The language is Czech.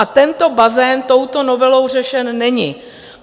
A tento bazén touto novelou řešen není.